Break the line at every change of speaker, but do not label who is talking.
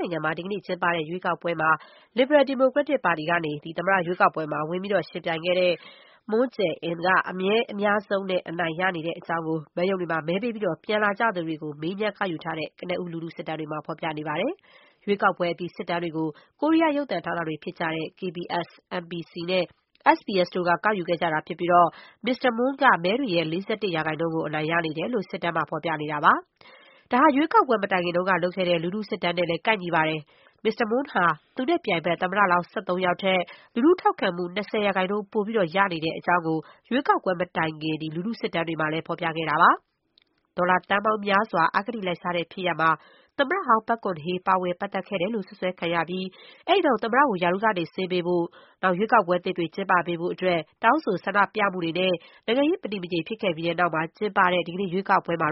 နိုင်ငံမှာ ဒီကနေ့ကျင်းပတဲ့ ရွေးကောက်ပွဲမှာ လစ်ဘရယ် ဒီမိုကရက်တစ်ပါတီကနေ သမ္မတရွေးကောက်ပွဲမှာ ပါဝင်ယှဉ်ပြိုင်ခဲ့တဲ့ Moon Jae-in က မဲအများဆုံးနဲ့ အနိုင်ရနေတဲ့အကြောင်း မဲရုံတွေမှာ မဲပေးပြီး ပြန်လာသူတွေ ကို မေးမြန်း ကောက်ယူထားတဲ့ ကနဦး လူထုစစ်တမ်းတွေမှာ ဖော်ပြနေပါတယ်။ ရွေးကောက်ပွဲအပြီး စစ်တမ်းတွေကို ကိုရီးယား ရုပ်သံဌာနတွေ ဖြစ်ကြတဲ့ KBS ၊ MBC နဲ့ SBS တို့က ကောက်ယူခဲ့ကြတာ ဖြစ်ပြီး မစ္စတာ Moon က မဲတွေရဲ့ ၄၁ ရာခိုင်နှုန်းကို အနိုင်ရနေတယ်လို့ စစ်တမ်းမှာ ပြနေတာပါ။ ဒါဟာ ရွေးကောက်ပွဲမတိုင်ခင်လုပ်ခဲ့တဲ့ လူထုစစ်တမ်းနဲ့လည်း ကိုက်ညီပါတယ်။ မစ္စတာ Moon ဟာ သူနဲ့ပြိုင်ဘက် သမ္မတလောင်း ၁၃ ယောက်ထက် လူထုထောက်ခံမှု ၂၀ ရာခိုင်နှုန်း ပိုရနေတဲ့အကြောင်းကို ရွေးကောက်ပွဲမတိုင်ခင် လူထုစစ်တမ်းတွေမှာ ဖော်ပြခဲ့တာပါ။ ဒေါ်လာသန်းပေါင်းများစွာ အဂတိလိုက်စားတဲ့ ဖြစ်ရပ်မှာ သမ္မတဟောင်း ပက်ဂွန်ဟေး ပါဝင်ပတ်သက်ခဲ့တယ်လို့ စွပ်စွဲခံရပြီး အဲဒီနောက် သမ္မတကို ရာထူးကနေ ဆင်းပေးဖို့ ရွေးကောက်ပွဲသစ်ကျင်းပပေးဖို့ တောင်းဆိုဆန္ဒပြမှုတွေနဲ့ နိုင်ငံရေး မတည်မငြိမ် ဖြစ်ခဲ့ပြီးတဲ့နောက် ကျင်းပတဲ့ ဒီကနေ့ ရွေးကောက်ပွဲမှာ